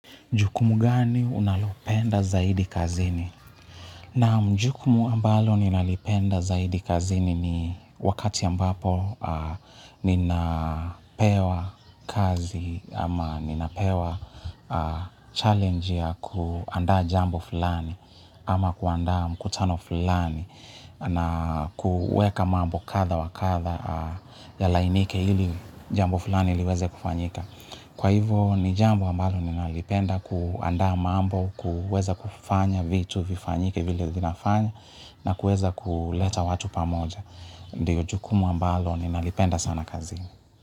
Jukumu gani unalopenda zaidi kazini? Na mjukumu ambalo ninalipenda zaidi kazini ni wakati ambapo ninapewa kazi ama ninapewa challenge ya kuandaa jambo fulani ama kuandaa mkutano fulani na kuweka mambo kadha wa kadha yalainike ili jambo fulani liweze kufanyika. Kwa hivo ni jambo ambalo ninalipenda kuandaa mambo, kuweza kufanya vitu vifanyike vile vinafanya na kuweza kuleta watu pamoja. Ndiyo jukumu ambalo ninalipenda sana kazini.